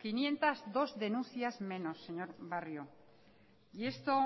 quinientos dos denuncias menos señor barrio y esto